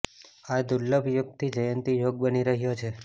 આ દુર્લભ યોગથી જયંતી યોગ બની રહ્યો છે